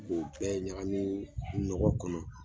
U bɛ ɲagamin ɲɔgɔn kɔnɔ